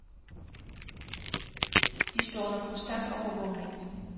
De står under konstant overvågning.